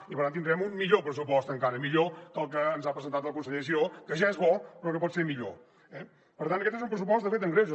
i per tant tindríem un millor pressupost encara millor que el que ens ha presentat el conseller giró que ja és bo però que pot ser millor eh per tant aquest és un pressupost de fet amb greuges